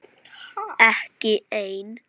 Ekki ein.